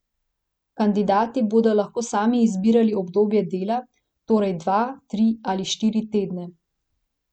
Kandidati bodo lahko sami izbirali obdobje dela, torej dva, tri ali štiri tedne.